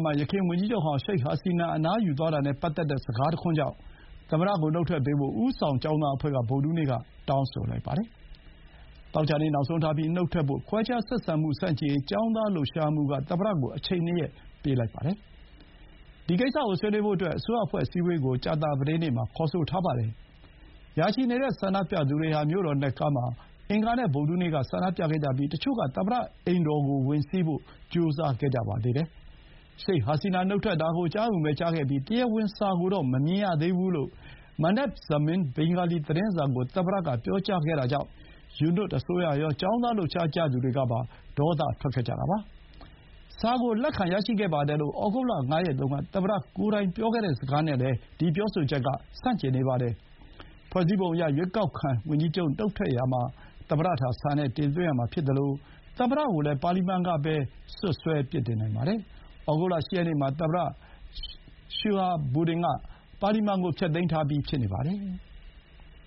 မှာ ယခင် ဝန်ကြီးချုပ်ဟောင်း ရှိတ်ဟာစီနာ အနားယူသွားတာနဲ့ ပတ်သက်တဲ့ စကားတခွန်းကြောင့် သမ္မတကို နှုတ်ထွက်ပေးဖို့ ဦးဆောင်ကျောင်းသားအဖွဲ့က ဗုဒ္ဓဟူးနေ့မှာ တောင်းဆိုလိုက်ပါတယ်။ သောကြာနေ့ နောက်ဆုံးထားပြီး နှုတ်ထွက်ဖို့၊ ခွဲခြားဆက်ဆံမှု ဆန့်ကျင်ရေး ကျောင်းသားလှုပ်ရှားမှုက သမ္မတကို အချိန် ၂ ရက် ပေးလိုက်တာပါ။ ဒီကိစ္စကို ဆွေးနွေးဖို့အတွက် အစိုးရအဖွဲ့အစည်းအဝေးကို ကြာသပတေးနေ့မှာ ခေါ်ဆိုထားပါတယ်။ ရာချီနေတဲ့ ဆန္ဒပြသူတွေဟာ မြို့တော် ဒက္ကားမှာ အင်္ဂါနဲ့ ဗုဒ္ဓဟူးနေ့က ဆန္ဒပြခဲ့ကြပြီး တချို့က သမ္မတအိမ်တော်ကို ဝင်စီးဖို့ ကြိုးစားခဲ့ကြပါတယ်။ ရှိတ်ဟာစီနာ နှုတ်ထွက်တာကို ကြားရုံပဲ ကြားခဲ့ပြီး တရားဝင် စာကိုတော့ မမြင်ရသေးဘူးလို့ Manab Zamin ဘင်္ဂါလီ သတင်းစာကို သမ္မတက ပြောကြားခဲ့တာကြောင့် ယူနွတ်အစိုးရရော၊ ကျောင်းသား လှုပ်ရှားသူတွေကပါ ဒေါသ ထွက်ခဲ့ကြတာပါ။ စာကို လက်ခံရရှိခဲ့တယ်လို့ ဩဂုတ်လ ၅ ရက်တုန်းက သမ္မတကိုယ်တိုင် ပြောခဲ့တဲ့ စကားနဲ့လည်း ဒါက ဆန့်ကျင်နေပါတယ်။ ဖွဲ့စည်းပုံအရ၊ ရွေးကောက်ခံ ဝန်ကြီးချုပ် နှုတ်ထွက်ရာမှာ သမ္မတထံ စာနဲ့တင်သွင်းရမှာ ဖြစ်သလို၊ သမ္မတကိုလည်း ပါလီမန်ကပဲ စွပ်စွဲ ပြစ်တင်နိုင်ပါတယ်။ ဩဂုတ်လ ၈ ရက်နေ့မှာ သမ္မတ ရှဟာဘူဒင်က ပါလီမန်ကို ဖျက်သိမ်းထားပြီး ဖြစ်ပါတယ်။